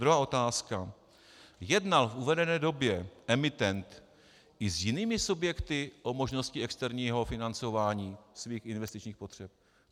Druhá otázka: Jednal v uvedené době emitent i s jinými subjekty o možnosti externího financování svých investičních potřeb?